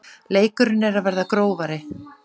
Leikurinn er að verða grófari